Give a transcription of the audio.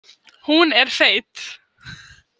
Hún er feit.